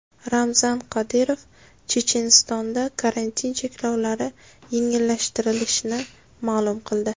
Ramzan Qodirov Chechenistonda karantin cheklovlari yengillashtirilishini ma’lum qildi.